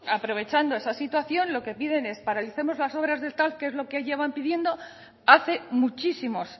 aprovechando esa situación lo que piden es paralicemos las obras del tav que es lo que llevan pidiendo hace muchísimos